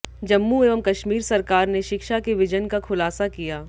जम्मू एवं कश्मीर सरकार ने शिक्षा के विजन का खुलासा किया